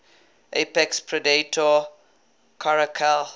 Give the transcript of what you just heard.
apex predator caracal